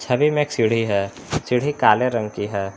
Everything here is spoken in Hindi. छवि में एक सीढ़ी है सीढ़ी काले रंग की है।